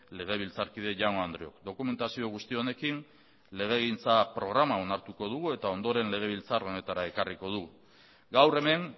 legebiltzarkide jaun andreok dokumentazio guzti honekin legegintza programa onartu egingo dugu eta ondoren legebiltzar honetara ekarriko dugu gaur hemen